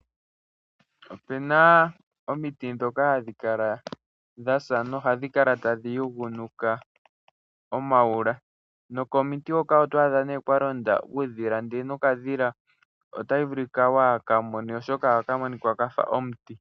This is a true in a desert.